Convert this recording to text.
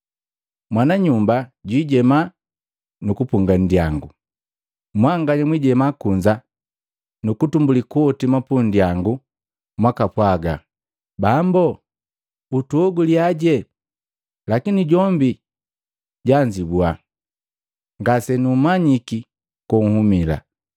Mwananyumba jwiijema nu kupunga nndiyangu. Mwanganya mwijema kunza nu kutumbuli kuhotima pundyangu mwakapwaga, ‘Bambo, utuhoguliyaje.’ Lakini jombi jaajibua, ‘Ngasenummanyike konhumila!’